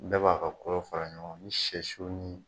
Bɛɛ b'a ka kolo fara ɲɔgɔn kan ni sɛ siw ni